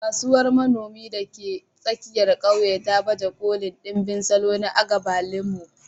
Kasuwar manomi da ke tsakiyar ƙauyen ta baje kolin ɗimbin salo na agbalumo.